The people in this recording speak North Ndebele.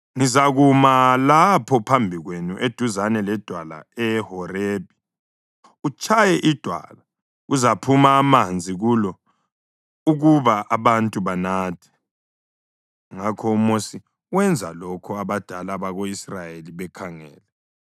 Ngizakuma lapho phambi kwenu eduzane ledwala eHorebhi. Utshaye idwala; kuzaphuma amanzi kulo ukuba abantu banathe.” Ngakho uMosi wenza lokho abadala bako-Israyeli bekhangele.